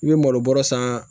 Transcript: I bɛ malo bɔrɛ san